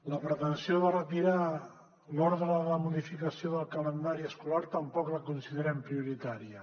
la pretensió de retirar l’ordre de modificació del calendari escolar tampoc la considerem prioritària